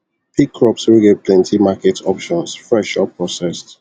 pick crops wey get plenty market options fresh or processed